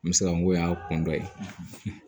N bɛ se ka n ko y'a kɔn dɔ ye